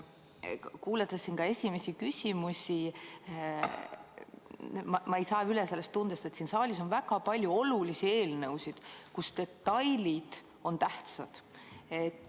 Olen kuulanud tänaseid esimesi küsimusi ja ma ei saa lahti tundest, et siin saalis on väga palju olulisi eelnõusid, kus detailid on tähtsad.